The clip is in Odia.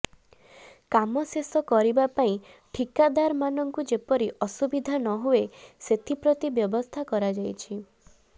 କାମ ଶେଷ କରିବା ପାଇଁ ଠିକାଦାରମାନଙ୍କୁ ଯେପରି ଅସୁବିଧା ନହୁଏ ସେଥିପ୍ରତି ବ୍ୟବସ୍ଥା କରାଯାଇଛି